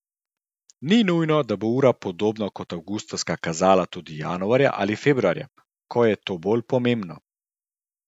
Ni nujno, da bo ura podobno kot avgusta kazala tudi januarja ali februarja, ko je to bolj pomembno.